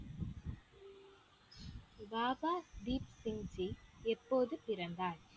பாபா தீப் சிங்ஜி எப்போது பிறந்தார்